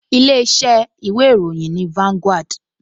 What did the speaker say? Ilé-iṣẹ́ ìwé ìròyìn ni Vanguard